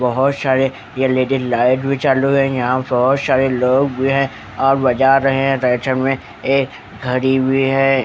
बहुत सारे L E D light भी चालू है यहां बहुत सारे लोग भी हैं और बजा रहे हैं राइट साइड में ये घड़ी भी है।